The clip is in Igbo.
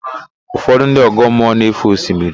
Ụfọdụ ndị ọgọmmụọ na-éfè osimiri.